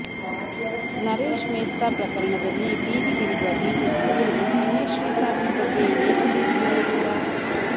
ನರೇಶ್ ಮೇಸ್ತಾ ಪ್ರಕರಣದಲ್ಲಿ ಬೀದಿಗಿಳಿಯುವ ಬಿಜೆಪಿಯವರು ಧನ್ಯಶ್ರೀ ಸಾವಿನ ಬಗ್ಗೆ ಏಕೆ ಬೀದಿಗಿಳಿಯಲಿಲ್ಲ